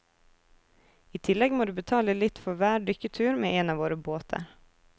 I tillegg må du betale litt for hver dykketur med en av våre båter.